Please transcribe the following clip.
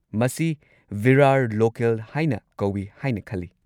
ꯃꯁꯤ ꯚꯤꯔꯥꯔ ꯂꯣꯀꯦꯜ ꯍꯥꯏꯅ ꯀꯧꯋꯤ ꯍꯥꯏꯅ ꯈꯜꯂꯤ꯫